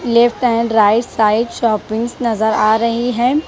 Left and right side shoppings नजर आ रही है।